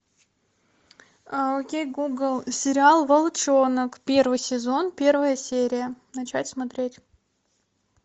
окей гугл сериал волчонок первый сезон первая серия начать смотреть